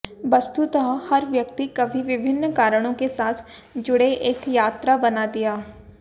वस्तुतः हर व्यक्ति कभी विभिन्न कारणों के साथ जुड़े एक यात्रा बना दिया